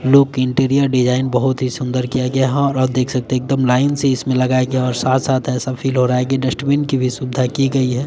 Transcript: लुकीटीरिया design बहुत ही सुंदर किया गया यहां और आप देख सकते एकदम लाइन से इसमें लगाया गया है और साथ साथ ऐसा फील हो रहा है कि डस्टबिन की भी सुविधा की गई है।